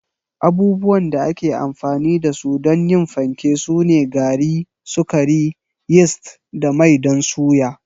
Abubuwan da ake amfani da su don yin fanke sune gari, sukari, yist da mai don suya.